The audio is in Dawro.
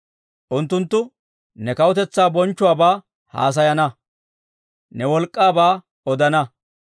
Unttunttu ne kawutetsaa bonchchuwaabaa haasayana; ne wolk'k'aabaa odana.